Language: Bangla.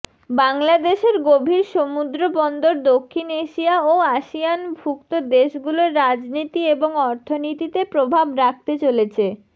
বাংলাদেশের গভীর সমুদ্রবন্দর দক্ষিণ এশিয়া ও আসিয়ানভুক্ত দেশগুলোর রাজনীতি এবং অর্থনীতিতে প্রভাব রাখতে চলেছে